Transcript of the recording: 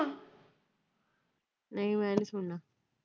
ਨਹੀਂ ਮੈ ਨਹੀਂ ਸੁਣਨਾ।